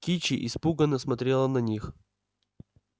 кичи испуганно смотрела на них